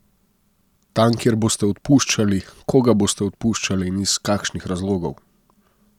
Tam kjer boste odpuščali, koga boste odpuščali in iz kakšnih razlogov?